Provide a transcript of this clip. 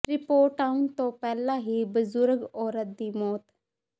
report ਆਉਣ ਤੋਂ ਪਹਿਲਾਂ ਹੀ ਬਜ਼ੁਰਗ ਔਰਤ ਦੀ ਮੌਤ